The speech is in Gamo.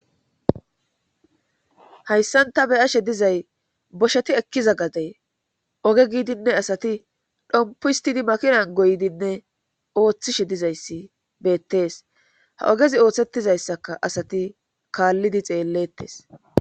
Hayssanta beyashe dizay bosheti ekkiza gadey oge giidinne asati dhompuhstidi makinan goydinne ooththishe dizayssi beettees ha ogezi ooththettizayssaka asati kaallidi xeellettes